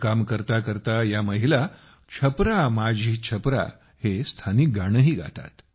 काम करता करता महिला छपरा माझी छपरा हे स्थानिक गाणेही गातात